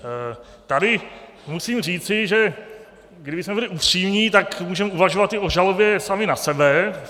Tady musím říci, že kdybychom byli upřímní, tak můžeme uvažovat i o žalobě sami na sebe.